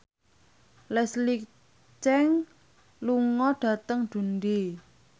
Leslie Cheung lunga dhateng Dundee